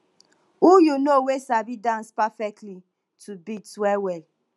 who you know wey sabi dance perfectly to beats well well